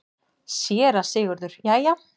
SÉRA SIGURÐUR: Jæja!